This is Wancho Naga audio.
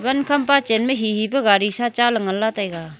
van khampa chenma hihi pu gari sa cha nganla taiga.